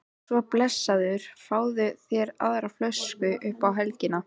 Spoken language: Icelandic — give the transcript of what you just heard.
Svo blessaður fáðu þér aðra flösku upp á helgina